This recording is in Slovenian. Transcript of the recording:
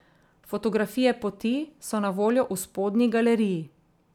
Fotografije poti so na voljo v spodnji galeriji.